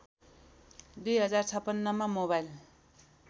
२०५६ मा मोबाइल